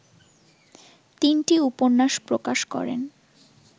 তিনটি উপন্যাস প্রকাশ করেন